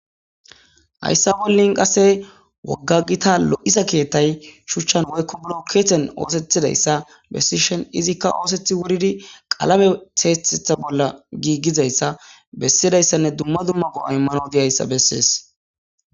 Hayssa bollin qase wogga gita lo7isa keettay shuchchan woykko bilokkeeten oosethidayssa bessishen izikka oosethi wuridi qalame teethetha bolla giiggizayssa bessidayssanne dumma dumma go7a immano deyayssa bessees.